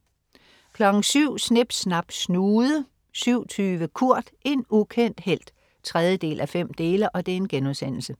07.00 Snip Snap Snude 07.20 Kurt. En ukendt helt 3:5*